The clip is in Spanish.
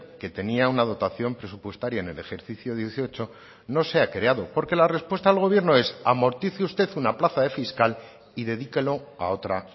que tenía una dotación presupuestaria en el ejercicio dieciocho no se ha creado porque la respuesta al gobierno es amortice usted una plaza de fiscal y dedíquelo a otra